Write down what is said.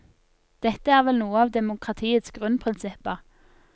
Dette er vel noe av demokratiets grunnprinsipper.